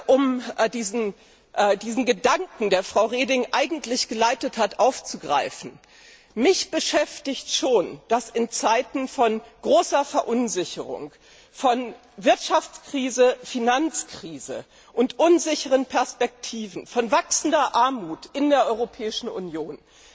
Um diesen Gedanken, der Frau Reding eigentlich geleitet hat, aufzugreifen Mich beschäftigt schon, dass in Zeiten von großer Verunsicherung, von Wirtschaftskrise, Finanzkrise und unsicheren Perspektiven, von wachsender Armut in der Europäischen Union